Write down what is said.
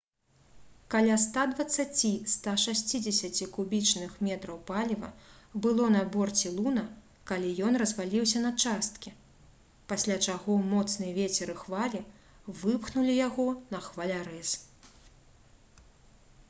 каля 120–160 кубічных метраў паліва было на борце «луна» калі ён разваліўся на часткі пасля чаго моцны вецер і хвалі выпхнулі яго на хвалярэз